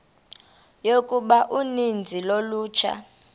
yokuba uninzi lolutsha